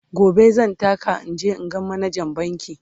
gobe zan taka in je in ga manajan bankin